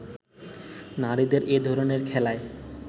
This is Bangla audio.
নারীদের এধরনের খেলায়